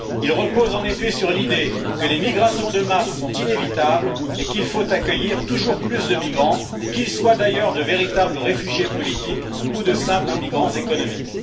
Il repose en effet sur l'idée que les migrations de masse sont inévitables et qu'il faut accueillir toujours plus de migrants, qu'ils soient d'ailleurs de véritables réfugiés politiques ou de simples migrants économiques.